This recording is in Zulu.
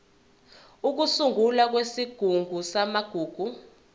ukusungulwa kwesigungu samagugu